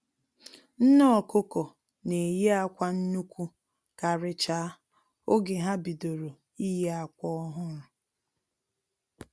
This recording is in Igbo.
Nne ọkụkọ na-eyi akwa nnukwu karịchaa oge ha bidoro iyi akwa ọhụrụ